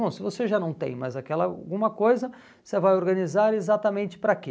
Bom, se você já não tem mais aquela alguma coisa, você vai organizar exatamente para quê?